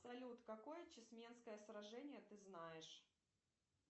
салют какое чесменское сражение ты знаешь